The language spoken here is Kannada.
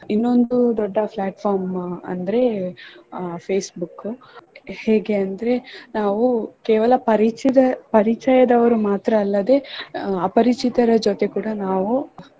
ಇನ್ನೊಂದು ದೊಡ್ಡ platform ಅಂದ್ರೆ ಅಹ್ Facebook ಹೇಗೆ ಅಂದ್ರೆ ನಾವು ಕೇವಲ ಪರಿಚಿ~ ಪರಿಚಯದವರು ಮಾತ್ರ ಅಲ್ಲದೆ ಅಪರಿಚಿತರ ಜೊತೆ ಕೂಡಾ ನಾವು.